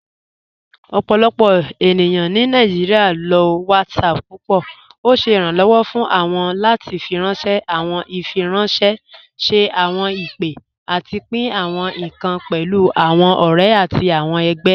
Ọpọlọpọ ènìyàn ni Nàìjíríà ló WhatsApp púpọ. Ọ̀ ṣẹ iránlọ́wọ̀ fún wọn láti fíranṣẹ̀ àwọn ìfiránṣẹ̀, ṣẹ̀ àwọn ìpè, àtì pín àwọn ìkàn pẹ̀lú àwọn ọ̀rẹ̀ àtì àwọn ẹgbẹ̀.